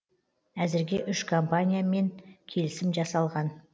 әзірге үш компаниямен келісім жасалған